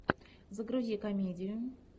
загрузи комедию